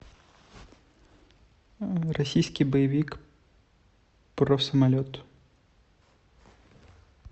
российский боевик про самолет